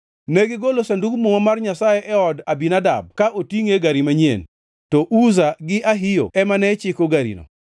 Negigolo Sandug Muma mar Nyasaye e od Abinadab ka otingʼe e gari manyien, to Uza gi Ahio ema ne chiko garino.